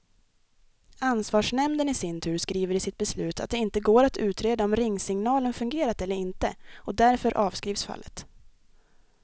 Ansvarsnämnden i sin tur skriver i sitt beslut att det inte går att utreda om ringsignalen fungerat eller inte, och därför avskrivs fallet.